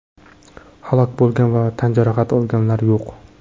Halok bo‘lgan va tan jarohati olganlar yo‘q.